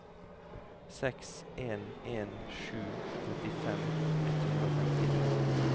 seks en en sju trettifem ett hundre og femtini